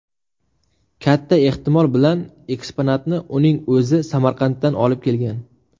Katta ehtimol bilan, eksponatni uning o‘zi Samarqanddan olib kelgan.